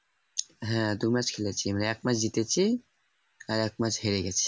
হ্যাঁ দু match খেলেছি আমরা এক match জিতেছি আর এক match হেরে গেছি